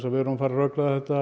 við erum að fara að rökræða þetta